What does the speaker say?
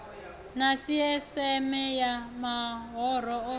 na sisieme ya mahoro o